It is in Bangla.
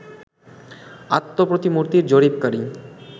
আত্মপ্রতিমূর্তির জরিপকারী